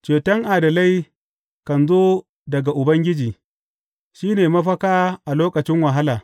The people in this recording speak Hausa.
Ceton adalai kan zo daga Ubangiji; shi ne mafaka a lokacin wahala.